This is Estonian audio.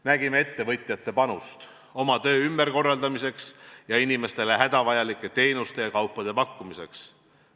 Nägime ettevõtjate panust oma töö ümberkorraldamiseks ja inimestele hädavajalike teenuste ja kaupade pakkumiseks.